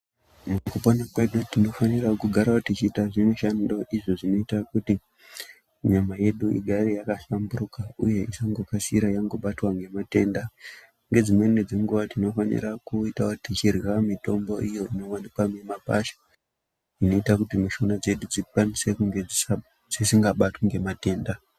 Mukupona kwedu tinofanirawo kugarawo techiita zvimishando izvo zvinoita kuti nyama yedu igare yakahlamburuka uye isangokasira yangobatwa ngematenda. Nedzimweni dzenguwa tinofanirawo kupota tichirya mitombo iyo inowanikwawo mumakwasha inoita kuti mishuna dzedu dzinge dzisingabatwi ngematenda.